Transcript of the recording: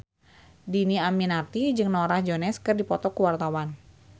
Dhini Aminarti jeung Norah Jones keur dipoto ku wartawan